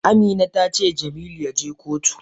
Amina tace Jamilu yaje kotu.